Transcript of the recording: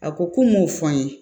A ko ko n m'o fɔ n ye